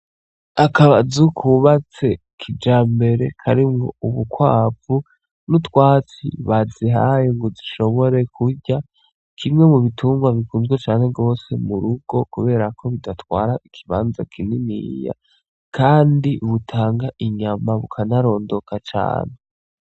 Akazu kubatse kijambere karimwo ubukwavu nutwatsi bazihaye ngo zishobore kurya kimwe mubitungwa bikunzwe cane gose murugo kuberako bidatwara ikibanza kininiya kandi butanga inyama bukanarondoka cane.